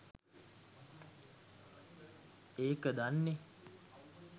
ඒක දන්නෙ